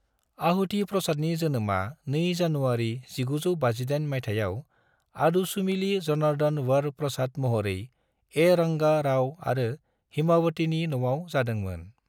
आहुति प्रसादनि जोनोमा 2 जानुवारि 1958 मायथाइयाव अदुसुमिली जनार्दन वर प्रसाद महरै ए. रंगा राव अरो हिमावतीनि न'आव जादों मोन।